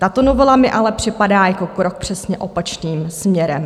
Tato novela mi ale připadá jako krok přesně opačným směrem.